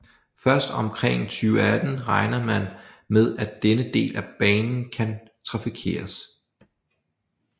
Først omkring 2018 regner man med at denne del af banen kan trafikeres